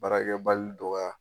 Baarakɛbali dɔgɔya